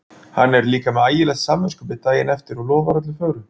Hann er líka með ægilegt samviskubit daginn eftir og lofar öllu fögru.